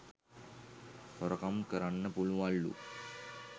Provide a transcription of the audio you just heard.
හොරකම් කරන්න පුළුවන් ලු.